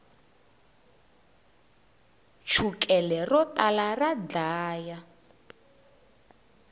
chukele ro tala ra dlaya